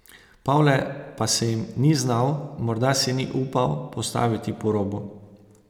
Pavle pa se jim ni znal, morda se ni upal, postaviti po robu.